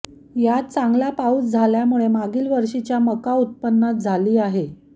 यात चांगला पाऊस झाल्यामुळे मागील वर्षीच्या मका उत्पन्नात झाली आहे